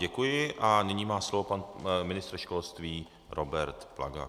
Děkuji a nyní má slovo pan ministr školství Robert Plaga.